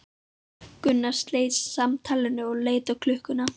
Gunnar sleit samtalinu og leit á klukkuna.